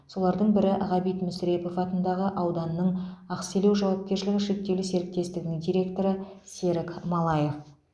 солардың бірі ғабит мүсірепов атындағы ауданның ақселеу жауапкершілігі шектеулі серіктестігінің директоры серік малаев